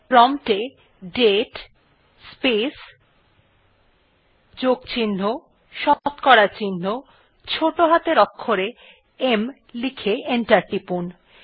prompt এ date space plus শতকরা চিহ্ন ছোটো হাতের অক্ষরে m লিখে এন্টার টিপুন